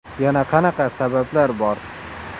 Yana qanaqa sabablar bor?